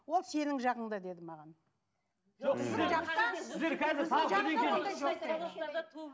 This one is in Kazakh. ол сенің жағыңда деді маған